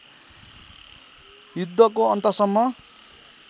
युद्धको अन्तसम्म